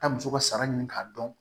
Taa muso ka sara ɲini k'a dɔn